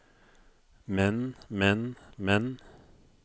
men men men